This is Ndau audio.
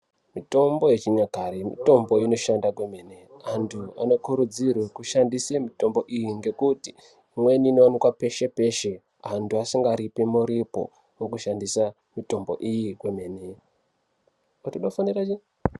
Mitombo yechinyakare mitombo inoshanda kwemene antu anokurudzirwe kushandise mitombo iyi ngekuti imweni inowanike peshe peshe antu asingaripe muripo wokushandisa mitombo iyi kwemene.